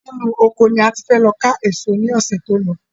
Inú ọkọ ni a ti fẹ lọ ká èso ní ọsẹ tí o lo